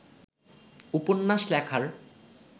উপন্যাস লেখার